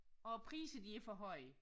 Og priser de er for høje